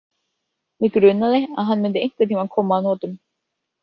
Mig grunaði að hann myndi einhvern tímann koma að notum